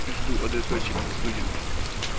жду адресочек в студию